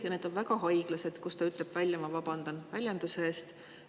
Ja need on väga haiglased, ta ütleb välja – ma vabandan väljenduse eest!